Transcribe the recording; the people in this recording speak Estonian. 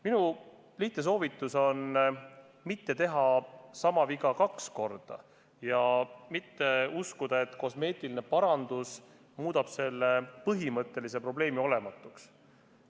Minu lihtne soovitus on mitte teha sama viga kaks korda ja mitte uskuda, et kosmeetiline parandus muudab põhimõttelise probleemi olematuks.